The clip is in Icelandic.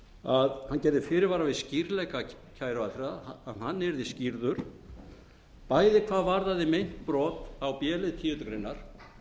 að hann gerði fyrirvara við skýrleika kæruaðferðar að hann yrði skýrður bæði hvað varðaði meint brot á b lið tíundu greinar